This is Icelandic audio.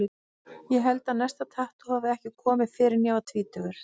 Ég held að næsta tattú hafi ekki komið fyrr en ég var tvítugur.